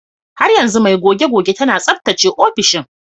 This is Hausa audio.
Har yanzu mai goge-goge tana tsaftace ofishin.